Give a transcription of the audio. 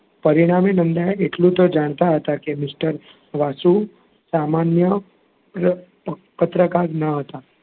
પરિણામે નંદા એ એંટલું તો જાણતા હતાં કે mister વાસુ સામાન્ય પ~પત્રકાર ન હતાં.